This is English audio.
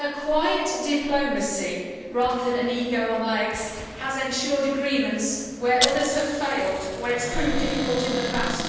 Her quiet diplomacy, rather than an ego on legs', has ensured agreements where others have failed and where it has proved difficult in the past.